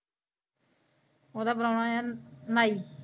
ਓਦਾ ਪ੍ਰਾਹੁਣਾ ਏ ਨਾਈ।